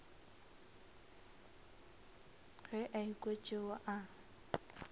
ge a ekwa tšeo a